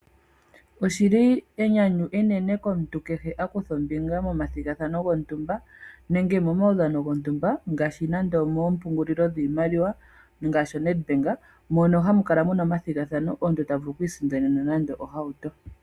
Oshili enyanyu enene komuntu a kutha ombinga methigathano lyontumba nenge momaudhano gontumba ngaashi nande oompungulilo dhiimaliwa ngaashi Nedbank mono hamu kala muna omathigathano omuntu ta vulu oku isindanena nande ohauto.